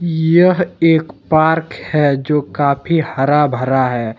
यह एक पार्क है जो कि काफी हर भरा है।